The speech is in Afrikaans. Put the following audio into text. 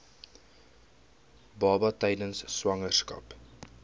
baba tydens swangerskap